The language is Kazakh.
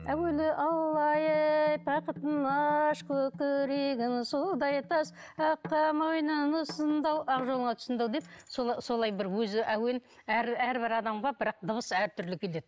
бақытын аш көкірегін судай тас аққа мойнын ұсынды ау ақ жолыңа тұсындау деп солай бір өзі әуен әрбір адамға бірақ дыбыс әртүрлі келеді